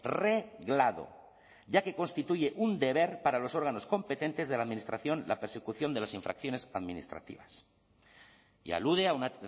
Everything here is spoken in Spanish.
reglado ya que constituye un deber para los órganos competentes de la administración la persecución de las infracciones administrativas y alude a una